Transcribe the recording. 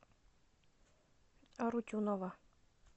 арутюнова